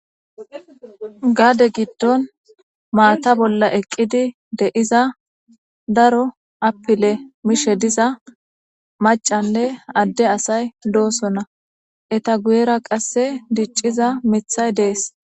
gaade giddon maata bolla eqqidi deiza daro apile mishe diza macanne adde asay doosonna eta guyera qasse dicciza mithay dees